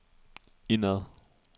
indad